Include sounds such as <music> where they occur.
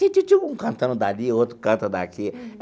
<unintelligible> Um cantando dali, outro canta daqui.